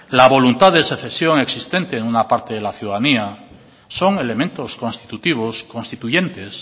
la voluntad de secesión existente en una parte de la ciudadanía son elementos constitutivos y constituyentes